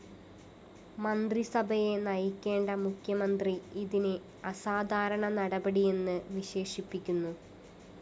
മന്ത്രിസഭയെ നയിക്കേണ്ട മുഖ്യമന്ത്രി ഇതിനെ അസാധാരണ നടപടിയെന്ന് വിശേഷിപ്പിക്കുന്നു